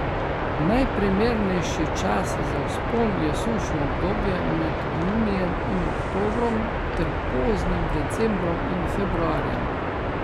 Najprimernejši čas za vzpon je sušno obdobje med junijem in oktobrom ter poznim decembrom in februarjem.